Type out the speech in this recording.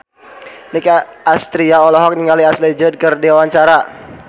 Nicky Astria olohok ningali Ashley Judd keur diwawancara